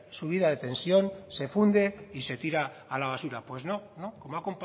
subida de tensión se funde y se tira a la basura pues no no como ha